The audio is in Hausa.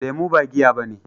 Lemu ba giya bane.